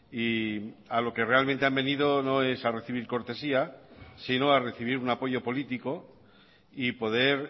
y a lo que realmente han venido no es a recibir cortesía sino a recibir un apoyo político y poder